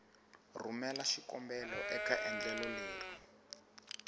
rhumela xikombelo eka endlelo leri